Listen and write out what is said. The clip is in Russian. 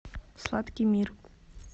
сладкий мир